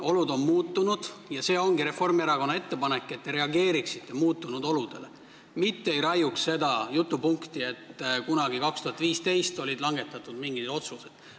Olud on muutunud ja Reformierakonna ettepanek ongi, et te reageeriksite muutunud oludele, mitte ei raiuks seda jutupunkti, et kunagi, 2015, langetati mingid otsused.